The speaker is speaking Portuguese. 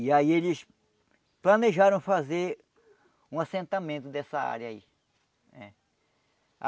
E aí eles planejaram fazer um assentamento dessa área aí. Eh